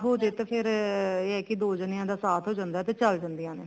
ਹੋ ਜੇ ਤਾਂ ਫ਼ੇਰ ਇਹ ਹੈ ਦੋ ਜਾਣਿਆ ਦਾ ਸਾਥ ਹੋ ਜਾਂਦਾ ਤੇ ਚੱਲ ਜਾਂਦੀਆਂ ਨੇ